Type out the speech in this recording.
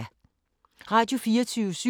Radio24syv